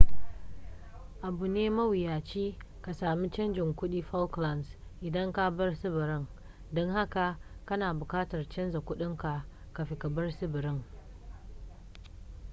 abu ne mawuyaci ka sami canjin kudin falklands idan ka bar tsibirin don haka kana bukatar canzar kudinka kafin ka bar tsibirin